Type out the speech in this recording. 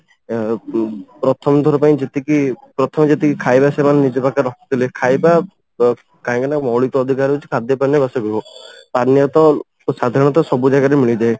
ଅ ଉମ ପ୍ରଥମ ଥର ପାଇଁ ଯେତିକି ପ୍ରଥମେ ଯେତିକି ଖାଇବା ସେମାନେ ନିଜ ପାଖରେ ରଖିଥିଲେ ଖାଇବା କାହିଁକି ନା ମୌଳିକ ଅଧିକାର ହଉଚି ଖାଦ୍ୟ ପାନୀୟ ବାସଗୃହ ପାନୀୟ ତ ସାଧାରଣତଃ ସବୁ ଜାଗାରେ ମିଳିଯାଏ